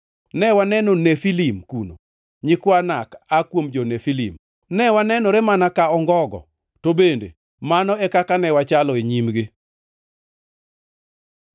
Ne waneno Nefilim kuno (nyikwa Anak aa kuom jo-Nefilim). Ne wanenore mana ka ongogo, to bende mano e kaka ne wachalo e nyimgi.”